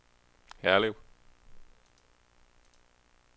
Herlev